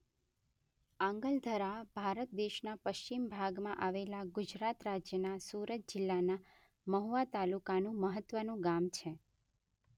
આંગલધરા ભારત દેશના પશ્ચિમ ભાગમાં આવેલા ગુજરાત રાજ્યના સુરત જિલ્લાના મહુવા તાલુકાનું મહત્વનું ગામ છે.